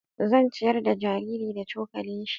Zan ciyar da jariri da cokali shi.